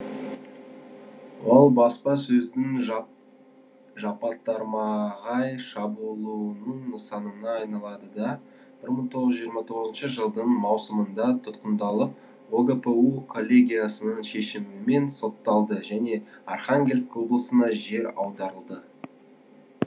ол баспасөздің жапатармағай шабуылының нысанына айналады да бір мың тоғыз жүз жиырма тоғызыншы жылдың маусымында тұтқындалып огпу коллегиясының шешімімен сотталды және архангельск облысына жер аударылды